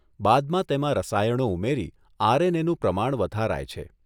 બાદમાં તેમાં રસાયણો ઉમેરી આર.એન.એ.નું પ્રમાણ વધારાય છે.